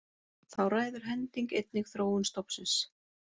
Þá ræður hending einnig þróun stofnsins.